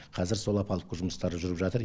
қазір сол опалубкы жұмыстары жүріп жатыр